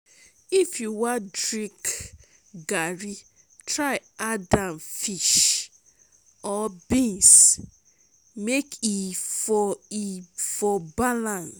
if you wan drink garri try add am fish or beans mek e for e for balance